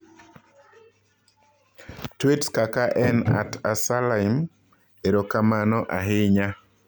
Tweets kaka en @salym erokamano ahinya.